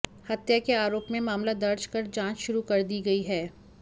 हत्या के आरोप में मामला दर्ज कर जांच शुरू कर दी गई है